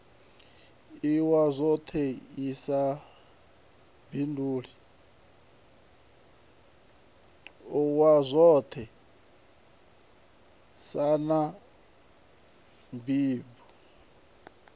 iwa zwoṱhe nlsa na blindlib